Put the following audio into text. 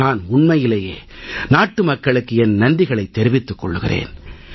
நான் உண்மையிலேயே நாட்டுமக்களுக்கு என் நன்றிகளை தெரிவித்துக் கொள்கிறேன்